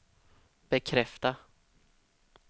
bekräfta